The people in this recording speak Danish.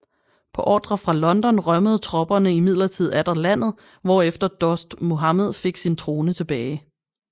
På ordre fra London rømmede tropperne imidlertid atter landet hvor efter Dost Muhammed fik sin trone tilbage